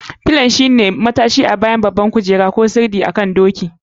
Pilion shine kushin sakandare, matashi, ko wurin zama a bayan babban kujera ko sirdi akan doki.